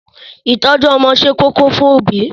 Ìtọ́jú ọmọ ṣe kókó fún òbí.